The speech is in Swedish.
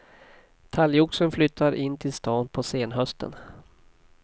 Talgoxen flyttar in till stan på senhösten.